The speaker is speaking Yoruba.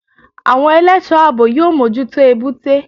Àwọn ẹlẹ́sọ̀ọ́ àbò yóò mójútó Èbúté.